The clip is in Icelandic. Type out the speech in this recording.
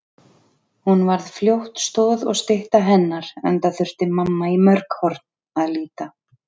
Hún varð fljótt stoð og stytta hennar enda þurfti mamma í mörg horn að líta.